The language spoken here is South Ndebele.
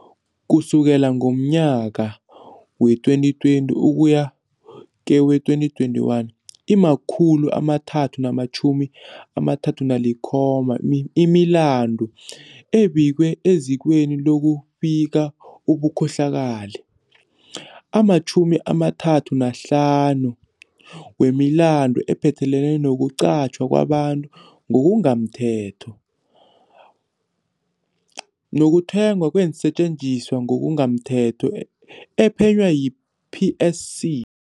Ukusukela ngomnyaka wee2020 ukuya kewe-2021, ima-337 imilandu ebikwe ezikweni loku bika ubukhohlakali. Ama-35 wemilandule iphathelene nokuqatjhwa kwabantu ngokungamthetho, nokuthengwa kweensetjenziswa ngokungamthetho ephenywa yi-PSC.